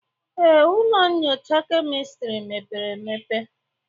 Ee, ụlọ nyocha kemistri mepere emepe.